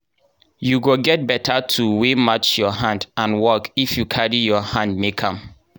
you go get beta tool wey match your hand and work if you carry your hand make am.